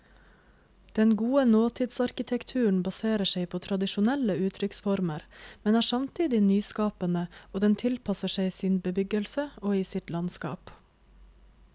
Den gode nåtidsarkitekturen baserer seg på tradisjonelle uttrykksformer, men er samtidig nyskapende, og den tilpasser seg sin bebyggelse og i sitt landskap.